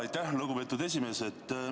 Aitäh, lugupeetud esimees!